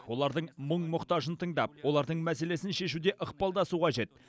олардың мұң мұқтажын тыңдап олардың мәселесін шешуде ықпалдасу қажет